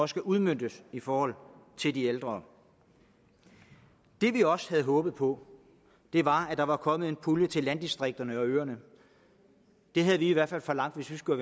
skal udmøntes i forhold til de ældre det vi også havde håbet på var at der var kommet en pulje til landdistrikterne og øerne det havde vi i hvert fald forlangt hvis vi skulle